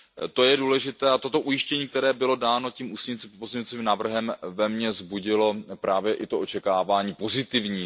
To je důležité a toto ujištění, které bylo dáno tím ústním pozměňovacím návrhem, ve mě vzbudilo právě i to očekávání pozitivní.